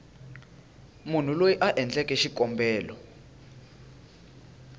munhu loyi a endleke xikombelo